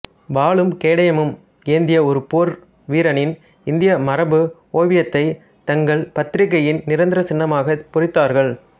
வாளும் கேடயமும் ஏந்திய ஒரு போர் வீரனின் இந்திய மரபு ஓவியத்தைத் தங்கள் பத்திரிகையின் நிரந்தரச் சின்னமாகப் பொறித்தார்கள்